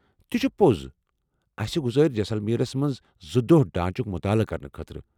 تہ چھ پوٚز۔ أسہِ گُزارو٘ جیسلمیرس منٛز زٕ دۄہ ڈانٛچُک مطالعہٕ کرنہٕ خٲطرٕ۔